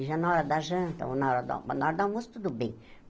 Já na hora da janta ou na hora do na hora do almoço, tudo bem.